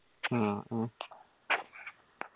ആ അ